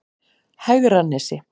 Hegranesi